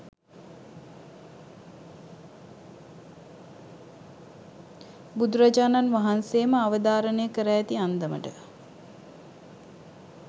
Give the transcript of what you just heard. බුදුරජාණන් වහන්සේ ම අවධාරණය කර ඇති අන්දමට,